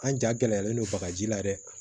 An ja gɛlɛyalen don bagaji la dɛ